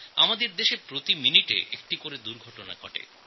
আমাদের দেশে প্রতি মিনিটে একটি করে দুর্ঘটনা ঘটে